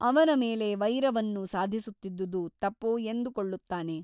ಅವರ ಮೇಲೆ ವೈರವನ್ನು ಸಾಧಿಸುತ್ತಿದ್ದುದು ತಪೋ ಎಂದುಕೊಳ್ಳುತ್ತಾನೆ.